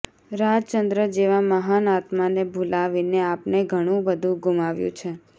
રાજચંદ્ર જેવા મહાન આત્માને ભુલાવીને આપણે ઘણું બધુ ગુમાવ્યું છે